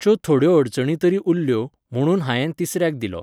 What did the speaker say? च्यो थोड्यो अडचणी तरी उरल्यो, म्हणून हांयेन तिसऱ्याक दिलो